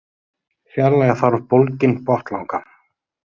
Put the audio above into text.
Fjarlægja þarf bólginn botnlanga.